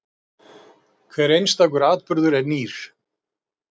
Hver einstakur atburður er nýr.